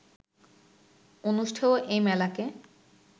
অনুষ্ঠেয় এই মেলাকে